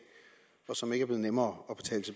og som ikke er blevet nemmere